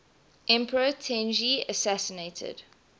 emperor tenji assassinated